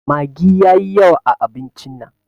Maggi yayi yawa a abincin nan.